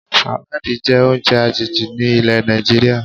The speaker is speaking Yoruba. Sàláàdì jẹ́ oúnjẹ àjèjì ni ilẹ̀ Nàìjíríà